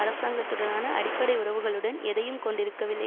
அரசாங்கத்துடனான அடிப்படை உறவுகளுடன் எதையும் கொண்டிருக்கவில்லை